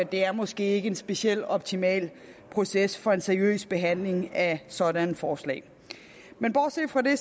det er måske ikke en speciel optimal proces for en seriøs behandling af sådanne forslag men bortset fra det